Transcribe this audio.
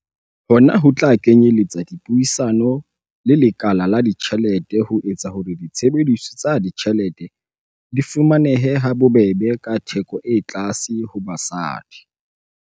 Hona ho tla kenyeletsa dipuisano le lekala la ditjhelete ho etsa hore ditshebeletso tsa ditjhelete di fumanehe ha bobebe ka theko e tlase ho basadi.